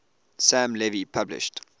sam levy published